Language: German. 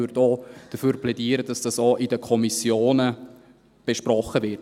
Ich würde auch dafür plädieren, dass dies auch in den Kommissionen besprochen wird.